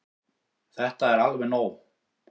Þetta er alveg nóg!